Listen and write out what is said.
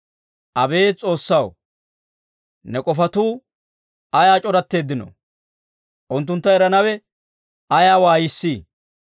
Abeet S'oossaw, ne k'ofatuu ayaa c'oratteeddinoo! Unttuntta eranawe ayaa waayissii!